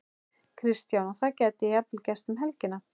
Kristján: Og það gæti jafnvel gerst um helgina?